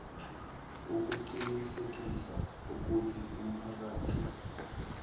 ukuqinisekisa ukuthi umphakathi